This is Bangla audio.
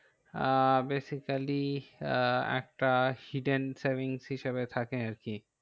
আহ basically আহ একটা hidden savings হিসাবে থাকে আরকি।